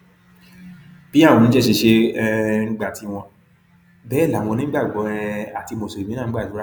bí àwọn oníṣẹṣe ṣe um ń gba tiwọn bẹẹ làwọn onígbàgbọ um àti mùsùlùmí náà ń gbàdúrà